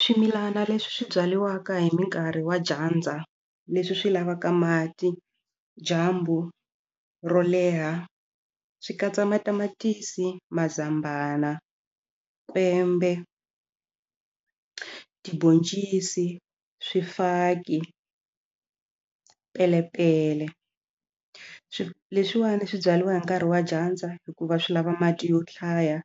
Swimilana leswi swi byariwaka hi minkarhi wa dyandza leswi swi lavaka mati dyambu ro leha swi katsa matamatisi mazambana kwembe tibhoncisi swifaki pelepele swi leswiwani swi byariwa hi nkarhi wa dyandza hikuva swi lava mati yo hlaya